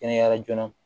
Kɛnɛyara joona